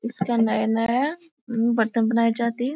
इसका नया नया बर्तन बनाये जाते है।